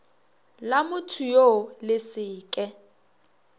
la mothoyoo le se ke